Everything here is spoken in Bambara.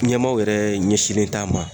Ɲɛmaaw yɛrɛ ɲɛsinlen t'a ma.